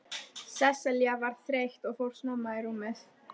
Sesselja var þreytt og fór snemma í rúmið.